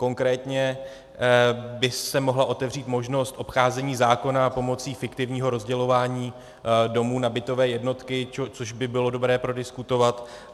Konkrétně by se mohla otevřít možnost obcházení zákona pomocí fiktivního rozdělování domů na bytové jednotky, což by bylo dobré prodiskutovat.